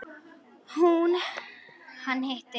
Hún: Hann hitti.